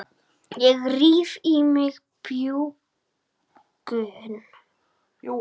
Ég ríf í mig bjúgun.